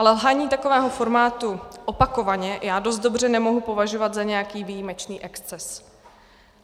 Ale lhaní takového formátu opakovaně já dost dobře nemohu považovat za nějaký výjimečný exces.